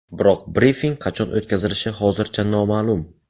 Biroq brifing qachon o‘tkazilishi hozircha noma’lum.